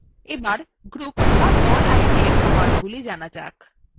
এখন group idএর commandsগুলি জানা যাক